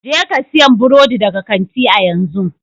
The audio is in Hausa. Jeka siyan burodi daga kanti a yanzu!